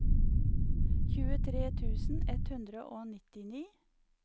tjuetre tusen ett hundre og nittini